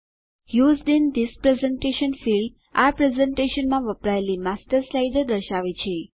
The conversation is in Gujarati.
used in this presentation field આ પ્રેઝેંટેશનમાં વપરાયેલી માસ્ટર સ્લાઇડો દર્શાવે છે